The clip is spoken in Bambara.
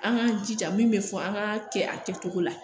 An k'an jija min be fɔ an ka kɛ a kɛcogo la